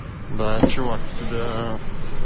да парень тебя